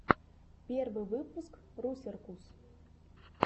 первый выпуск русеркус